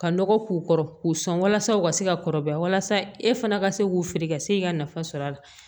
Ka nɔgɔ k'u kɔrɔ k'u sɔn walasa u ka se ka kɔrɔbaya walasa e fana ka se k'u feere ka se ka nafa sɔrɔ a la